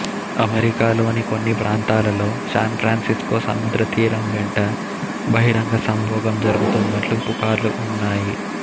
అమెరికాలోని కొన్ని ప్రాంతాలలో శాన్ ఫ్రాన్సిస్కో సముద్రతీరం వెంట బహిరంగ సంభోగం జరుగుతున్నట్లు పుకార్లు ఉన్నాయి